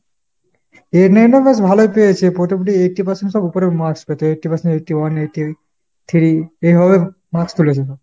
eight nine এ বেশ ভালোই পেয়েছে। মোটামুটি eighty percent এর সব উপরে marks পেতো eighty percent, eighty-one, eighty-eight, three। এইভাবে marks তুলেছে।